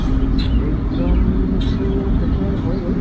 exam to sessional হৈ গ'ল